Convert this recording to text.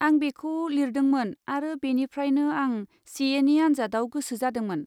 आं बेखौ लिरदोंमोन आरो बेनिफ्रायनो आं सि एनि आनजादाव गोसो जादोंमोन।